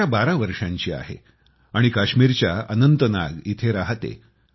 हनाया 12 वर्षांची आहे आणि काश्मीरच्या अनंतनाग येथे राहते